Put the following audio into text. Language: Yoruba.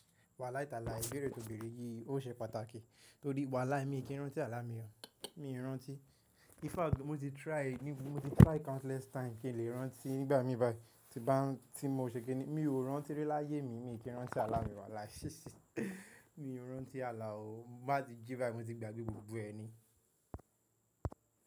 Wàlài talai, ìbéèrè tòbéèrè yìí ó ṣe pàtàkì torí wàlài mi kí n rántí àlá mi o, mi i rántí. In fact mo ti try, mo ti try countless time kí n lè rántí nígbà mì bai, tí bá n tí mo ṣe kí ni mi ò rántí rí láyé mi, mi ò kí rántí àlá mi wàlài. Mi ò rántí àlá o, n bá ti jí bá mi ti gbàgbé gbogbo ẹni.